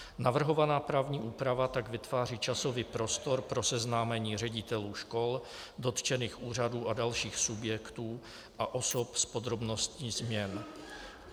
Navrhovaná právní úprava tak vytváří časový prostor pro seznámení ředitelů škol, dotčených úřadů a dalších subjektů a osob s podrobnostmi změn.